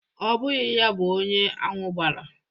Ọ bụghị ya bụ onye aṅwụ gbara.